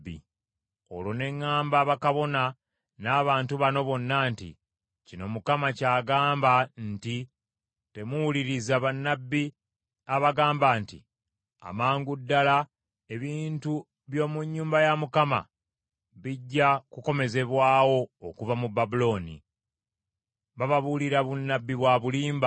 Olwo ne ŋŋamba bakabona n’abantu bano bonna nti, “Kino Mukama ky’agamba nti, Temuwuliriza bannabbi abagamba nti, ‘Amangu ddala ebintu by’omu nnyumba ya Mukama bijja kukomezebwawo okuva mu Babulooni.’ Bababuulira bunnabbi bwa bulimba.